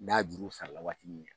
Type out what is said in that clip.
N'a juru u sara la waati min na